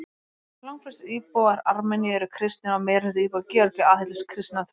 Langflestir íbúar Armeníu eru kristnir og meirihluti íbúa Georgíu aðhyllist kristna trú.